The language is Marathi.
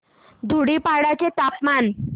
धुडीपाडा चे तापमान